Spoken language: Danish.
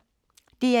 DR1